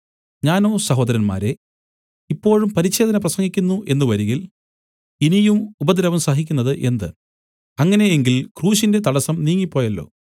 ഞാനോ സഹോദരന്മാരേ ഇപ്പോഴും പരിച്ഛേദന പ്രസംഗിക്കുന്നു എന്നു വരികിൽ ഇനിയും ഉപദ്രവം സഹിക്കുന്നത് എന്ത് അങ്ങനെ എങ്കിൽ ക്രൂശിന്റെ തടസ്സം നീങ്ങിപ്പോയല്ലോ